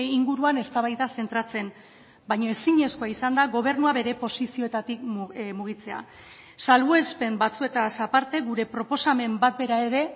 inguruan eztabaida zentratzen baina ezinezkoa izan da gobernua bere posizioetatik mugitzea salbuespen batzuetaz aparte gure proposamen bat bera ere